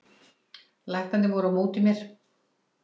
Læknarnir voru á móti mér